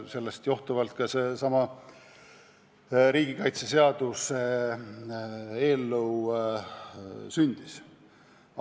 Sellest johtuvalt seesama riigikaitseseaduse eelnõu sündis.